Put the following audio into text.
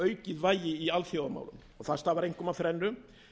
aukið vægi í alþjóðamálum það stafar einkum af þrennu